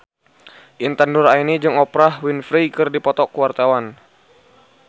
Intan Nuraini jeung Oprah Winfrey keur dipoto ku wartawan